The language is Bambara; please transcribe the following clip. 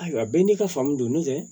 Ayiwa bɛɛ n'i ka faamu don n'o tɛ